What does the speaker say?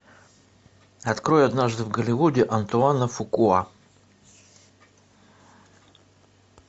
открой однажды в голливуде антуана фукуа